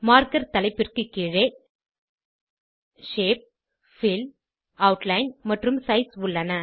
marker தலைப்பிற்கு கீழே shape fill outline மற்றும் சைஸ் உள்ளன